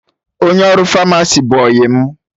Onye ọrụ Famasi bụ ọyị mụ